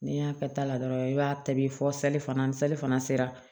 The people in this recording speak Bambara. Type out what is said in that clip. N'i y'a kɛ ta la dɔrɔn i b'a ta bi fɔ fana ni sali fana sera